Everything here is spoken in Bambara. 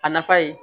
A nafa ye